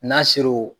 N'a ser'o